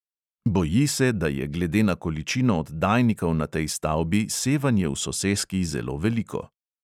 Boji se, da je glede na količino oddajnikov na tej stavbi sevanje v soseski zelo veliko.